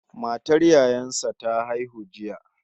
Matar yayan sa ta haihu jiya